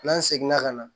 N'an seginna ka na